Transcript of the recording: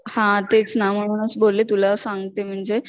हा तेच ना म्हणूनच बोलले तुला सांगते म्हणजे